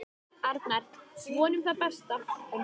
Arnar: Vonum það besta.